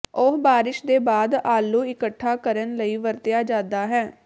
ਉਹ ਬਾਰਸ਼ ਦੇ ਬਾਅਦ ਆਲੂ ਇਕੱਠਾ ਕਰਨ ਲਈ ਵਰਤਿਆ ਜਾਦਾ ਹੈ